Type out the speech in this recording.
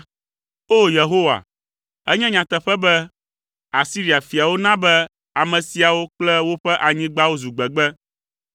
“O! Yehowa, enye nyateƒe be Asiria fiawo na be ame siawo kple woƒe anyigbawo zu gbegbe.